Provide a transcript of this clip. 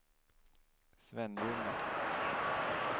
Svenljunga